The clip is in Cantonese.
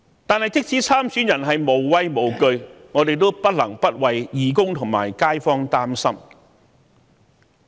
但是，即使參選人是無畏無懼，我們也不得不為義工和街坊擔心。